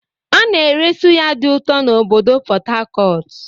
A na-ere sụ́yá dị ụtọ na obodo Port Harcourt.